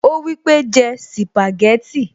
Ó wípé, jẹ́ sìpàgẹ́tì